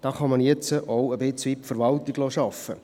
Da kann man jetzt auch ein wenig die Verwaltung arbeiten lassen.